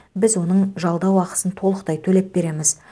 біз оның жалдау ақысын толықтай төлеп береміз